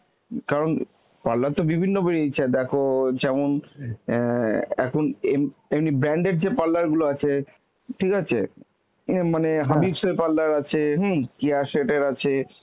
কারণ parlour তো বিভিন্ন বেরিয়েছে দেখো যেমন অ্যাঁ এখন এম~ এমনি branded যে parlour গুলো আছে, ঠিক আছে, ইয়ে মানে Habibs এর parlour আছে, হম Keya Seth এর আছে